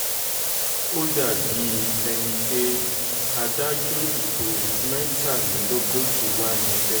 ó dà bíi ẹni pé adájú ìbò mẹ́tàdínlógójì wà níbẹ̀